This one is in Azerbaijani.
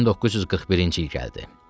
1941-ci il gəldi.